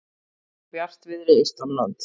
Víða bjartviðri austanlands